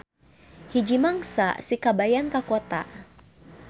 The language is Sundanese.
Hiji mangsa si kabayan ka kota.